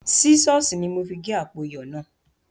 Sísọ̀s ni mo fi gé àpò iyọ̀ náà